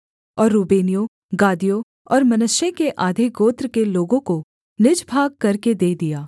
और रूबेनियों गादियों और मनश्शे के आधे गोत्र के लोगों को निज भाग करके दे दिया